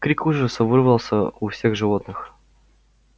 крик ужаса вырвался у всех животных